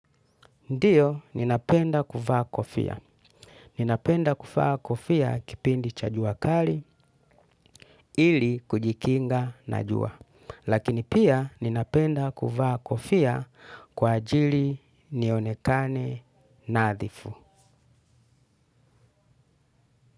Ndio ninapenda kuvaa kofia ninapensa kuvaa kofia kipindi cha jua kali ili kujikinga na jua. Lakini pia ninapenda kufaa kofia kwa ajili nionekane nadhifu.